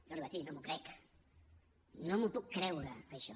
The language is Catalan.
jo li vaig dir no m’ho crec no m’ho puc creure això